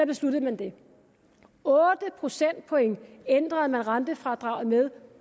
besluttede man det otte procentpoint ændrede man rentefradraget med